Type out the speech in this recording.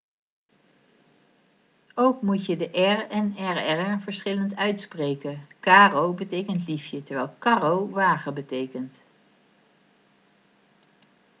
ook moet je de r en rr verschillend uitspreken caro betekent liefje terwijl carro wagen betekent